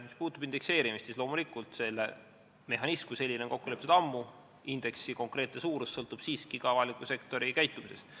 Mis puutub indekseerimisse, siis loomulikult on selle mehhanism kui selline kokku lepitud ammu, aga indeksi konkreetne suurus sõltub siiski ka avaliku sektori käitumisest.